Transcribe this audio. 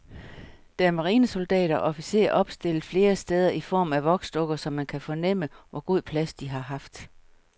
Der er marinesoldater og officerer opstillet flere steder i form af voksdukker, så man kan fornemme, hvor god plads de har haft.